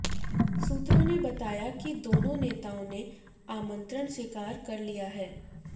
सूत्रों ने बताया कि दोनों नेताओं ने आमंत्रण स्वीकार कर लिया है